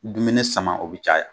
Dumune sama o bi caya .